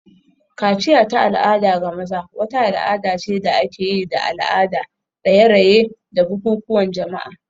Kaciya ta al'ada ga maza wata al'ada ce da ake yi da al'ada, raye-raye, da bukukuwan jama'a.